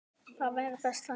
Það væri best þannig.